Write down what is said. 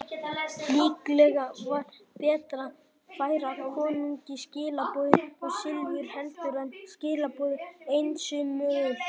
Líklega var betra að færa konungi skilaboðin og silfur heldur en skilaboðin einsömul.